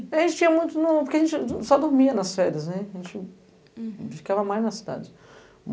A gente tinha muito nao, porque a gente só dormia nas férias, a gente ficava mais na cidade.